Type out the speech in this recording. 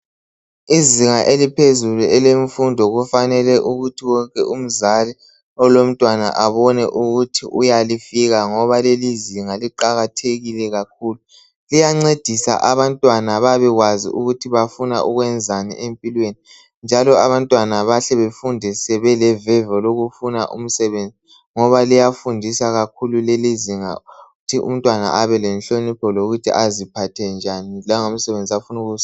Izinga eliphezulu elemfundo kufanele ukuthi wonke umzali olomntwana abone ukuthi uyalifika ngoba lelizinga liqakathekile kakhulu. Liyancedisa abantwana babekwazi ukuthi bafuna ukwenzani empilweni njalo abantwana bahle bafunde sebeleveve lokufuna umsebenzi ngoba liyafundisa kakhulu lelizinga ukuthi umntwana abe lenhlonipho lokuthi aziphathe njani langomsebenzi ofuna ukwenza.